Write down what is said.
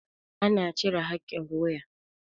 ana cire hakin wuya